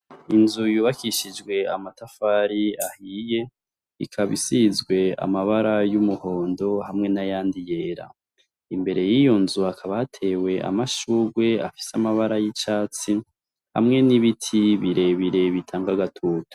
Inzu yubakishijwe amatafari ahiye, ikaba isizwe amabara y'umuhondo hamwe n'ayandi yera. Imbere y'iyo nzu hakaba hatewe amashurwe afise amabara y'icatsi, hamwe n'ibiti birebire bitanga agatutu.